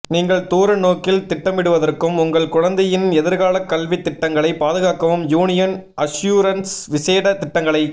நீங்கள் தூர நோக்கில் திட்டமிடுவதற்கும் உங்கள் குழந்தையின் எதிர்கால கல்வித் திட்டங்களை பாதுகாக்கவும் யூனியன் அஷ்யூரன்ஸ் விசேட திட்டங்களை